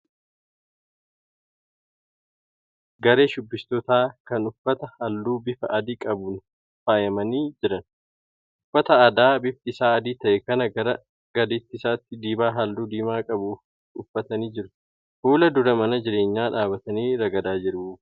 Garee shubbistootaa kan uffata halluu bifa adii qabuun faayamanii jiran. Uffata aadaa bifti isaa adii ta'e kan gara gadii isaatti dibaa halluu diimaa qabu uffatanii jiru. Fuula dura mana jireenyaa dhaabbatanii ragadaa jiru.